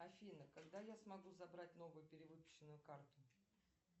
афина когда я смогу забрать новую перевыпущенную карту